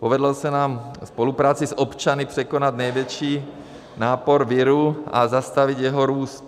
Povedlo se nám ve spolupráci s občany překonat největší nápor viru a zastavit jeho růst.